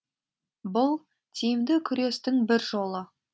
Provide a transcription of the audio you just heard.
бұл тиімді күрестің бір жолы